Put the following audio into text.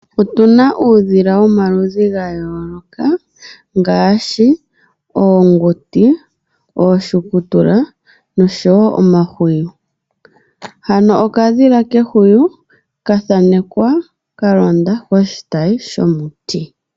Opuna uudhila womalidhi ga yooloka ngaashi oonguti ,ooshukutula oshowo omahwiyu, hano okadhila kehwiyu kathanekwa ka londa koshitayi shomuti.